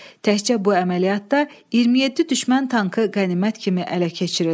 Təkcə bu əməliyyatda 27 düşmən tankı qənimət kimi ələ keçirildi.